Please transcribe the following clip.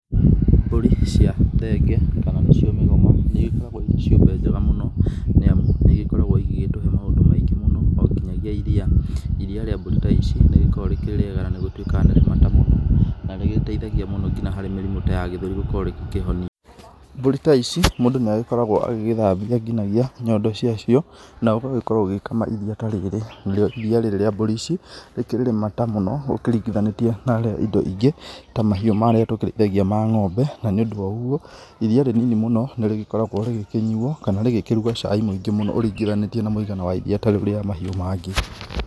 Mbũri cia thenge, kana nĩ cio mĩgoma nĩ igĩkoragwo irĩ ciũmbe njega mũno, nĩ amu nĩ igĩgĩkoragwo igĩgĩtũhe maũndũ maingĩ mũno, o ngĩnyagia iriia. Iriia rĩa mbũri ta ici nĩ rĩgĩkoragwo rĩkĩrĩ riega na nĩ gũtuĩkaga nĩ rĩ mata mũno na nĩ rĩteithagia mũno nginya harĩ mĩrimũ ya gĩthũri gũkorwo rĩgĩkĩhonia. Mbũri ta ici mũndũ nĩ agĩkoragwo agĩgĩthambia ngĩnyagia nyondo cia cio na ũgagĩkorwo ũgĩkama iriia ta rĩrĩ. Na rĩo iriia ta rĩrĩ rĩa mbũri ici, rĩkĩrĩ rĩmata mũno ũkĩringithanĩtie na rĩa indo ingĩ ta mahiũ marĩa tũkĩrĩithagia ma ngombe. Na nĩ ũndũ woguo, iriia rĩ nini mũno nĩ rĩgĩkoragwo rĩgĩkĩnyuo, kana rĩgĩkĩruga caai mũingĩ mũno ũringithanĩtie na mũigana wa iriia ta rĩu ria mahiũ mangĩ.